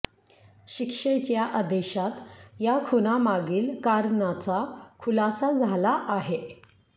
शिक्षेच्या आदेशात या खुनामागील कारणाचा खुलासा झाला आहे